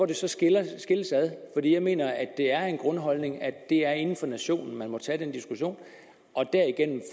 det skiller for jeg mener det er en grundholdning at det er inden for nationen man må tage den diskussion og derigennem